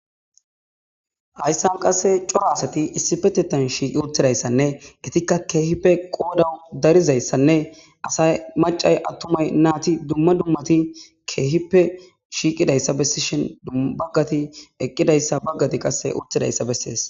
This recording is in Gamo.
Hayssan qasse cora asati issipetheta shiiqidi uttirayssanne ettikka keehippe qoodan darizaytanne asay maccay attumay naati dumma dummati keehippe shiiqidata bessishin bagati eqqidayta bagati qase utidayta besees.